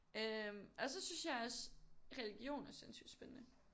Øh og så synes jeg også religion er sindssygt spændende